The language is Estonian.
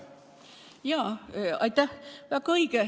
Aitäh!